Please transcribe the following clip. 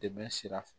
Dɛmɛ sira fɛ